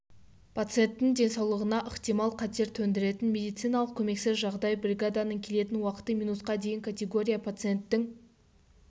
пациенттің денсаулығына ықтимал қатер төндіретін медициналық көмексіз жағдай бригаданың келетін уақыты минутқа дейін категория пациенттің